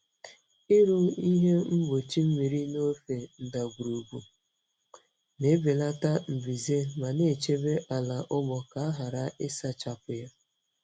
Ịrụ ihe mgbochi mmiri n'ofe ndagwurugwu na-ebelata mbuze ma na-echebe ala ugbo ka a ghara ịsachapụ ya.